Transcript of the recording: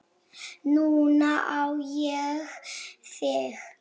Núna á ég þig.